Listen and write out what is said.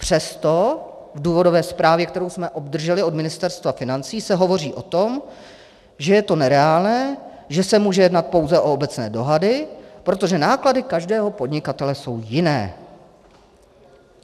Přesto v důvodové zprávě, kterou jsme obdrželi od Ministerstva financí, se hovoří o tom, že je to nereálné, že se může jednat pouze o obecné dohady, protože náklady každého podnikatele jsou jiné.